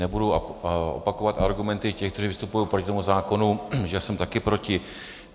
Nebudu opakovat argumenty těch, kteří vystupují proti tomu zákonu, že jsem taky proti.